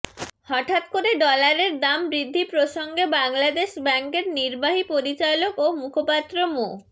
হঠাৎ করে ডলারের দাম বৃদ্ধি প্রসঙ্গে বাংলাদেশ ব্যাংকের নির্বাহী পরিচালক ও মুখপাত্র মো